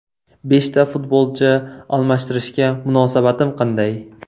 Beshta futbolchi almashtirishga munosabatim qanday?